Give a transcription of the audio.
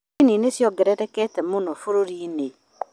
Ndini nĩciongererekete mũno bũrũri-inĩ